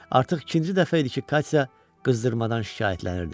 Artıq ikinci dəfə idi ki, Katya qızdırmadan şikayətlənirdi.